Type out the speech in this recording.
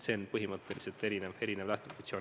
See on põhimõtteliselt teistsugune lähtepositsioon.